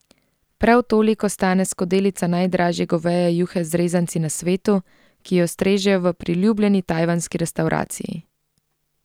Prav toliko stane skodelica najdražje goveje juhe z rezanci na svetu, ki jo strežejo v priljubljeni tajvanski restavraciji.